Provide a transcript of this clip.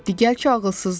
digər ki ağılsızdır.